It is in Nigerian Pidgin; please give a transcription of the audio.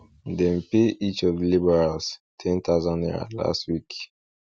dem pay each of di labourers ten thousand naira last week